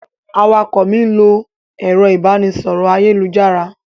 Awakọ̀ mi n lo ẹrọ ibanisọrọ ayelujara.